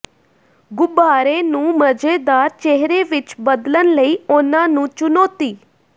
ਗੁਬਾਰੇ ਨੂੰ ਮਜ਼ੇਦਾਰ ਚਿਹਰੇ ਵਿੱਚ ਬਦਲਣ ਲਈ ਉਨ੍ਹਾਂ ਨੂੰ ਚੁਣੌਤੀ